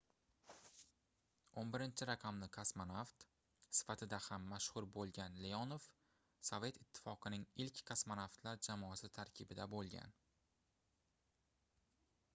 11-raqamli kosmonavt sifatida ham mashhur boʻlgan leonov sovet ittifoqining ilk kosmonavtlar jamoasi tarkibida boʻlgan